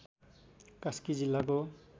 कास्की जिल्लाको